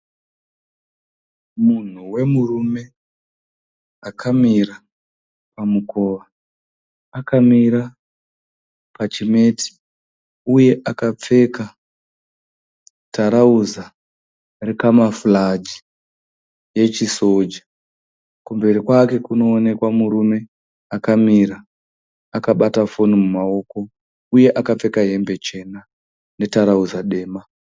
Munhu wemurume akamira pamukova. Akamira pachimeti uye akapfeka tarauza rekamafuraji yechisoja. Kumberi kwake kunoonekwa murume akamira akabata foni mumaoko uye akapfeka hembe chena netarauza dema.